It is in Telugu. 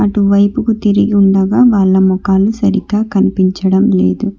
అటువైపుకు తిరిగి ఉండగా వాళ్ళ ముఖాలు సరిగ్గా కనిపించడం లేదు.